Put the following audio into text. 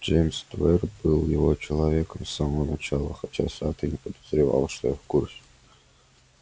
джеймс твер был его человеком с самого начала хотя сатт и не подозревал что я в курсе